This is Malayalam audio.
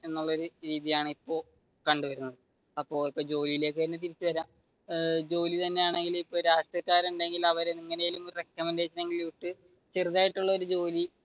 എന്നുള്ള ഒരു രീതിയാണ് ഇപ്പൊ കണ്ടുവരുന്നത് അപ്പൊ ജോലിയിലേക്ക് തന്നെ തിരിച്ചു വരാം ജോലി തന്നെയാണെങ്കിലും രാഷ്ട്രീയക്കാർ ഉണ്ടെങ്കിൽ അവർ ചെറുതായിട്ട് ഉള്ള ഒരു ജോലി